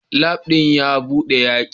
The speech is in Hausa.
Labu din a bude yake